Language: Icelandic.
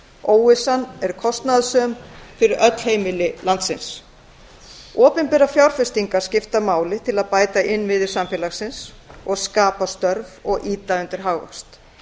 óvissan er kostnaðarsöm fyrir öll heimili í landinu opinberar fjárfestingar skipta máli til að bæta innviði samfélagsins skapa störf og ýta undir hagvöxt